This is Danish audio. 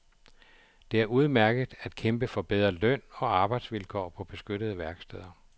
Det er udmærket at kæmpe for bedre løn og arbejdsvilkår på beskyttede værksteder.